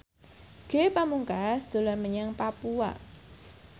Ge Pamungkas dolan menyang Papua